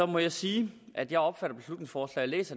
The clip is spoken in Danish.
må jeg sige at jeg opfatter beslutningsforslaget